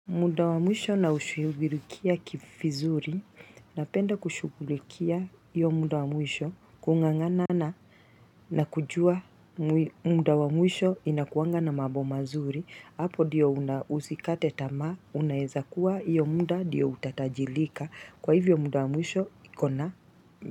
Muda wa mwisho na ushughulikia vizuri, napenda kushughulikia hiyo muda wa mwisho kungangana na kujua muda wa mwisho inakuanga na mambo mazuri, hapo ndiyo usikate tama, unaweza kuwa hiyo muda ndiyo utajirika, kwa hivyo muda wa mwisho iko na.